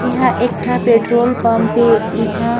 इहा एक ठ पेट्रोल पंप हे इहा --